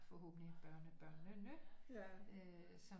Forhåbentligt børnebørnene øh som